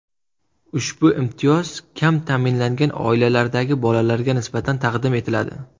Ushbu imtiyoz kam ta’minlangan oilalardagi bolalarga nisbatan taqdim etiladi.